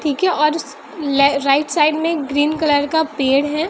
ठीक है और राइट साइड में ग्रीन कलर का पेड़ है।